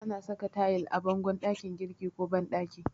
Ana saka tayil a bangon ɗakin girki ko banɗaki.